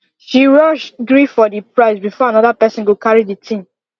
she rush gree for the price before another person go carry the thing